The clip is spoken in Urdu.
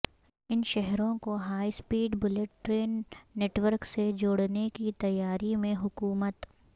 ان شہروں کو high speed bullet train network سے جوڑنے کی تیاری میں حکومت